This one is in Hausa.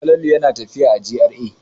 Falalu yana tafiya a GRA.